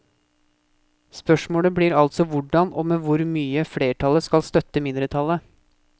Spørsmålet blir altså hvordan og med hvor mye flertallet skal støtte mindretallet.